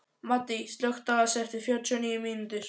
Maddý, slökktu á þessu eftir fjörutíu og níu mínútur.